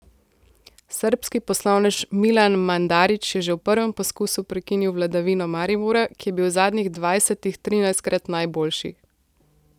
Srbski poslovnež Milan Mandarić je že v prvem poskusu prekinil vladavino Maribora, ki je bil v zadnjih dvajsetih trinajstkrat najboljši.